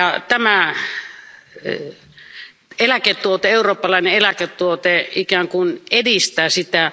Tämä eläketuote, eurooppalainen eläketuote, ikään kuin edistää sitä.